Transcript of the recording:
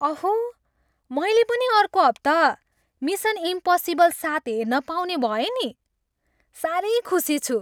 अहो! मैले पनि अर्को हप्ता मिसन इम्पसिबल सात हेर्न पाउने भएँ नि। साह्रै खुसी छु।